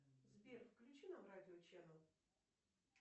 сбер включи нам радио ченал